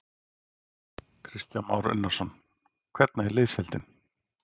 Kristján Már Unnarsson: Hvernig er liðsheildin?